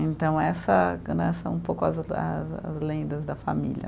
Então, essa né são um pouco as as lendas da família.